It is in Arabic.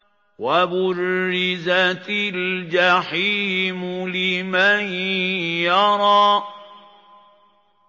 وَبُرِّزَتِ الْجَحِيمُ لِمَن يَرَىٰ